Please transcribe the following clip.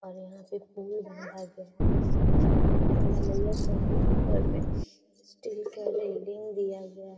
और यहाँ पे गया है। इस छत ढलैया करके ऊपर में स्टील का बिल्डिंग दिया गया --